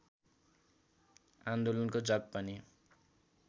आन्दोलनको जग पनि